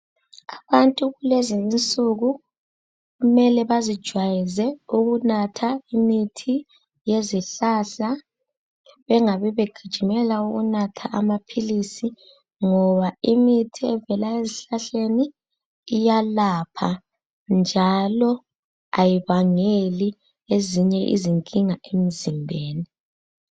Abantu kulezinsuku kumele bazijwayeze ukunatha imithi yezihlahla bengabi begijimela ukunatha amaphilisi, ngoba imithi evela ezihlahleni iyelapha njalo ayibangeli ezinye izinkinga emzimbeni.